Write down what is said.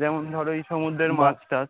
যেমন যেমন ধরো এই সমুদ্রের মাছ টাছ।